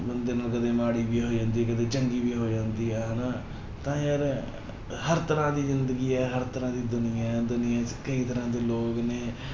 ਬੰਦੇ ਨਾਲ ਕਦੇ ਮਾੜੀ ਵੀ ਹੋ ਜਾਂਦੀ ਹੈ, ਕਿਤੇ ਚੰਗੀ ਵੀ ਹੋ ਜਾਂਦੀ ਹੈ ਹਨਾ ਤਾਂ ਯਾਰ ਹਰ ਤਰ੍ਹਾਂ ਦੀ ਜ਼ਿੰਦਗੀ ਹੈ, ਹਰ ਤਰ੍ਹਾਂ ਦੀ ਦੁਨੀਆਂ ਹੈ, ਦੁਨੀਆਂ ਚ ਕਈ ਤਰ੍ਹਾਂ ਦੇ ਲੋਕ ਨੇ